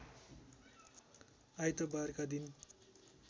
आइतबारका दिन